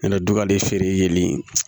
Nana don ka de feere